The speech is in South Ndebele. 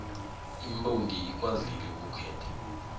imbongi ikwazile ukukhetha